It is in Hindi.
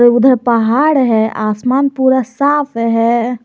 उधर पहाड़ है आसमान पूरा साफ है।